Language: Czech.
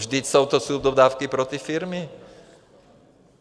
Vždyť jsou to subdodávky pro ty firmy.